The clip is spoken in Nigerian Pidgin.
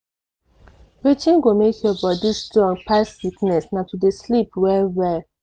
wetin go make your body strong pass sickness na to dey sleep well well.